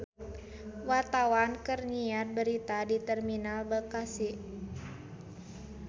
Wartawan keur nyiar berita di Terminal Bekasi